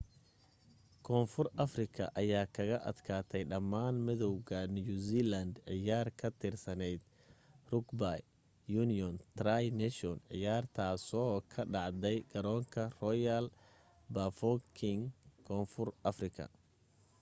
koonfur afrika aya kaga adkaatay dhamaan madowganew zealand ciyaar ka tirsaneyd rugby union tri nations ciyaartaasoo ka dhacday garoonka royal bafokeng koonfur afrika